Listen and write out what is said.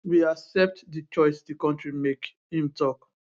we accept di choice di kontri make im tok